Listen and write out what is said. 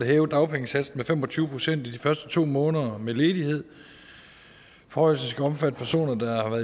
hæve dagpengesatsen med fem og tyve procent i de første to måneder med ledighed forhøjelsen skal omfatte personer der